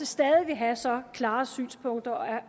stadig vil have så klare synspunkter